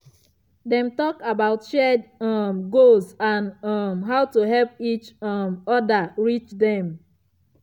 dem talk about shared um goals and um how to help each um other reach them.